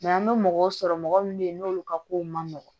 an bɛ mɔgɔw sɔrɔ mɔgɔ minnu bɛ yen n'olu ka kow man nɔgɔn